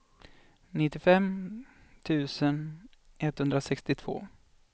nittiofem tusen etthundrasextiotvå